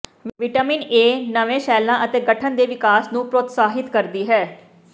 vitamin A ਨਵੇਂ ਸੈੱਲਾਂ ਦੇ ਗਠਨ ਅਤੇ ਵਿਕਾਸ ਨੂੰ ਪ੍ਰੋਤਸਾਹਿਤ ਕਰਦੀ ਹੈ